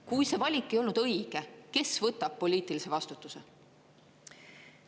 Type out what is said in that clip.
Kui see valik ei olnud õige, kes võtab poliitilise vastutuse?